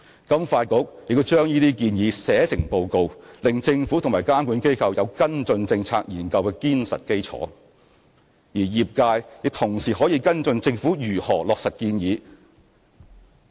金發局亦把這些建議寫成報告，令政府及監管機構有跟進政策研究的堅實基礎；而業界亦同時可以跟進政府如何落實建議。